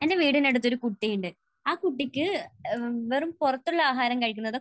എന്റെ വീടിനടുത്തൊരു കുട്ടിയുണ്ട്. ആ കുട്ടിക്ക് വെറും പുറത്തുള്ള ആഹാരം കഴിക്കുന്നത്